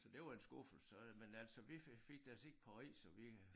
Så det var en skuffelse så men altså vi fik fik da set Paris og vi øh